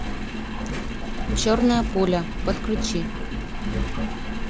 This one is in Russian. черная пуля подключи